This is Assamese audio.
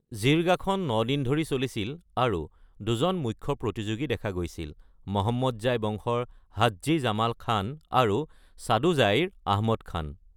জিৰগাখন ৯ দিন ধৰি চলিছিল আৰু দুজন মুখ্য প্ৰতিযোগী দেখা গৈছিল: মহম্মদজাই বংশৰ হাজ্জী জামাল খান আৰু সাদোজাইৰ আহমদ খান।